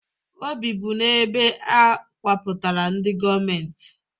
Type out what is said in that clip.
O bibu n'ebe e kewapụtara ndị gọọmentị